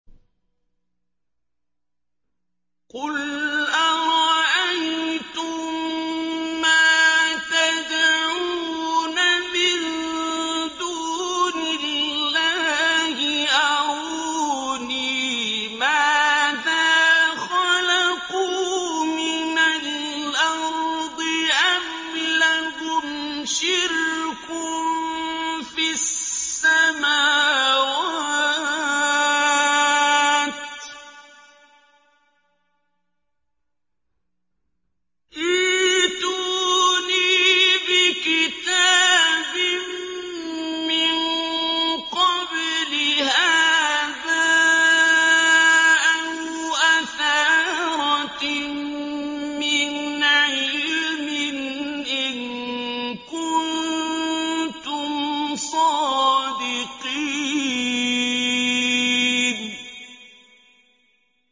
قُلْ أَرَأَيْتُم مَّا تَدْعُونَ مِن دُونِ اللَّهِ أَرُونِي مَاذَا خَلَقُوا مِنَ الْأَرْضِ أَمْ لَهُمْ شِرْكٌ فِي السَّمَاوَاتِ ۖ ائْتُونِي بِكِتَابٍ مِّن قَبْلِ هَٰذَا أَوْ أَثَارَةٍ مِّنْ عِلْمٍ إِن كُنتُمْ صَادِقِينَ